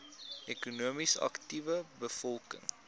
ekonomies aktiewe bevolking